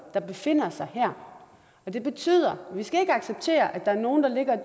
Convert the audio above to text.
der befinder sig her det betyder at vi ikke skal acceptere at der er nogle der ligger og